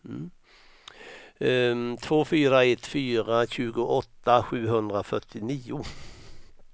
två fyra ett fyra tjugoåtta sjuhundrafyrtionio